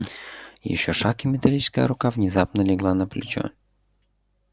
ещё шаг и металлическая рука внезапно легла на плечо